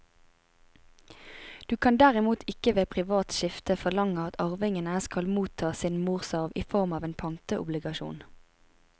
Du kan derimot ikke ved privat skifte forlange at arvingene skal motta sin morsarv i form av en pantobligasjon.